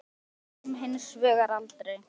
Þyrlan kom hins vegar aldrei.